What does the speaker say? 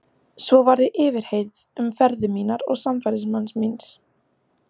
Svo var ég yfirheyrð um ferðir mínar og samferðamanns míns.